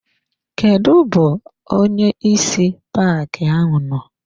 Kedụ bụ onyeisi paaki ahụ nọ?